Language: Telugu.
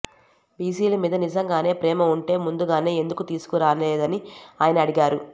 బీసీల మీద నిజంగానే ప్రేమ ఉంటే ముందుగానే ఎందుకు తీసుకుని రాలేదని ఆయన అడిగారు